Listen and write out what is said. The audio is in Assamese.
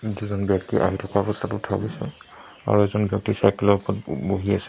দুজন ব্যক্তি আহি থকা অৱস্থাত উঠোৱা গৈছে আৰু এজন ব্যক্তি চাইকেল ৰ ওপৰত বহি আছে।